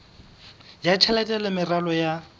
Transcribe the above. ya tjhelete le meralo ya